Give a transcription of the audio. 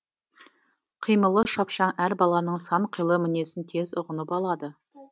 қимылы шапшаң әр баланың сан қилы мінезін тез ұғынып алады